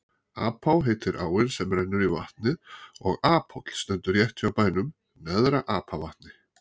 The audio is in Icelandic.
Apá heitir áin sem rennur í vatnið og Aphóll stendur rétt hjá bænum Neðra-Apavatni.